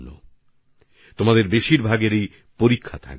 অধিকাংশ নবীন বন্ধুর পরীক্ষা থাকবে